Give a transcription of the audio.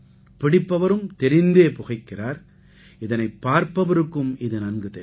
பிடிப்பவரும் தெரிந்தே புகைக்கிறார் இதனைப் பாரப்பவருக்கும் இது நன்கு தெரியும்